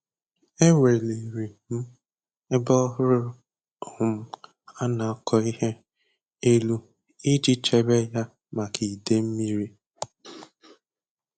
Eweliri m ebe ọhụrụ um a na-akọ ihe elu iji chebe ya maka idei mmiri.